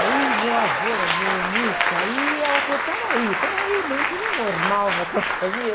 Aí meu avô era violonista. Aí ela falou, peraí, peraí, mas não tem nenhum normal na tua família?